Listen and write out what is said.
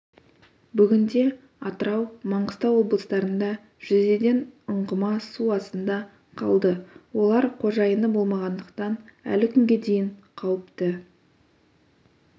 бүгінде атырау маңғыстау облыстарында жүзеден ұңғыма су астында қалды олар қожайыны болмағандықтан әлі күнге дейін қауіпті